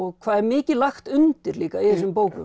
hvað er mikið lagt undir líka í þessum bókum